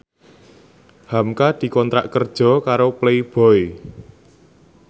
hamka dikontrak kerja karo Playboy